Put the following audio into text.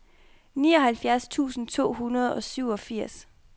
nioghalvfjerds tusind to hundrede og syvogfirs